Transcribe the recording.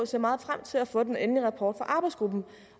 ser meget frem til at få den endelige rapport arbejdsgruppen